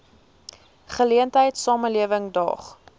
geleentheid samelewing daag